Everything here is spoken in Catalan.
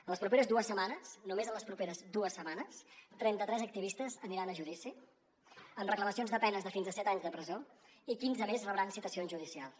en les properes dues setmanes només en les properes dues setmanes trenta tres activistes aniran a judici amb reclamacions de penes de fins a set anys de presó i quinze més rebran citacions judicials